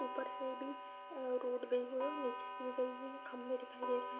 ऊपर से भी अ रोड गयी हुई है और निचे से भी गयी हुई है। खम्बे दिखाई दे रहे हैं।